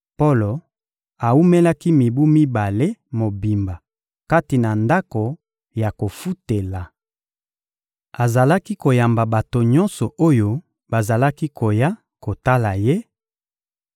Polo awumelaki mibu mibale mobimba kati na ndako ya kofutela. Azalaki koyamba bato nyonso oyo bazalaki koya kotala ye;